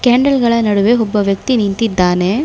Candle ಗಳ ನಡುವೆ ಒಬ್ಬ ವ್ಯಕ್ತಿ ನಿಂತಿದ್ದಾನೆ.